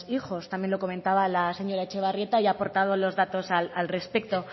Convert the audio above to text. hijos también lo comentaba la señora etxebarrieta y ha aportado los datos al respecto